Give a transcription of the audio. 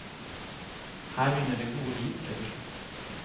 Her begynner det gode liv, rett og slett.